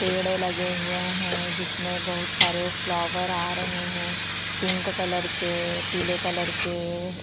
पेड़ लगे हुए है जिसमे बहुत सारे फ्लावर आ रहे है पिंक कलर के पीले कलर के--